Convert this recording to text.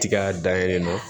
Tiga dayɛlɛ na